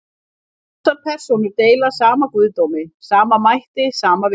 Þessar persónur deila sama guðdómi, sama mætti, sama vilja.